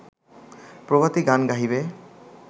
প্রভাতী গান গাহিবে